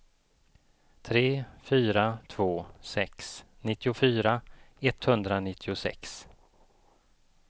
tre fyra två sex nittiofyra etthundranittiosex